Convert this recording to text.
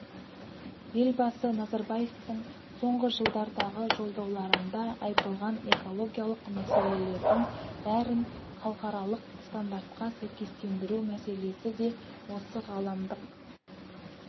елбасы назарбаевтың соңғы жылдардағы жолдауларында айтылған экологиялық мәселелердің бәрін халықаралық стандартқа сәйкестендіру мәселесі де осы ғаламдық